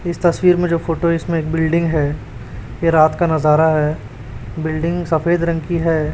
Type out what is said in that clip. इस तस्वीर में जो फोटो इसमें एक बिल्डिंग है ये रात का नजारा है बिल्डिंग सफेद रंग की है।